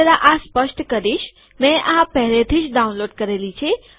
હું જરા આ સ્પષ્ટ કરીશ મેં આ પહેલેથીજ ડાઉનલોડ કરેલી છે